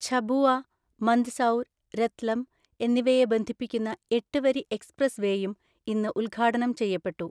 ഝബുവ, മന്ദ്സൗര്, രത്ലം എന്നിവയെ ബന്ധിപ്പിക്കുന്ന എട്ട് വരി എക്സ്പ്രസ് വേയും ഇന്ന് ഉദ്ഘാടനം ചെയ്യപ്പെട്ടു.